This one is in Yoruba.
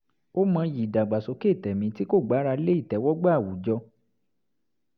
ó mọyì ìdàgbàsókè tẹ̀mí tí kò gbára lé ìtẹ̀wọ́gbà àwùjọ